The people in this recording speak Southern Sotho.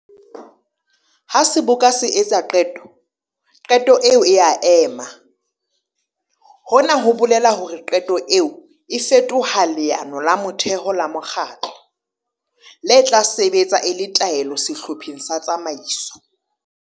Ha Seboka se etsa qeto, qeto eo e a ema! Hona ho bolela hore qeto eo e fetoha leano la motheho la mokgatlo, le tla sebetsa e le taelo sehlopheng sa tsamaiso.